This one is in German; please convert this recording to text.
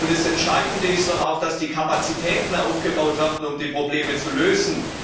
Das Entscheidende ist doch auch, dass die Kapazitäten aufgebaut werden, um die Probleme zu lösen.